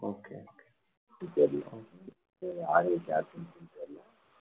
okay